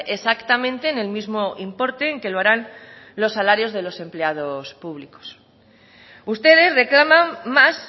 exactamente en el mismo importe en que lo harán los salarios de los empleados públicos ustedes reclaman más